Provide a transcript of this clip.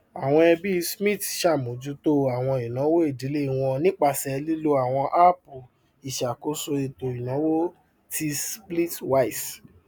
àwọn ẹbí smith ṣàmójútó àwọn ìnáwó ìdílé wọn nípasẹ lílò àwọn áàpù ìṣakóso ètò ìnáwó ti splitwise